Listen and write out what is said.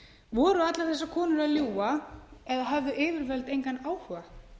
voru allar þessar konur að ljúga eða höfðu yfirvöld engan áhuga